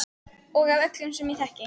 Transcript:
Og af öllum sem ég þekki.